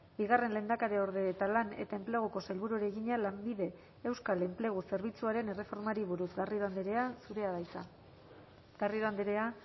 bigarren lehendakariorde eta lan eta enpleguko sailburuari egina lanbide euskal enplegu zerbitzuaren erreformari buruz garrido andrea zurea da hitza garrido andrea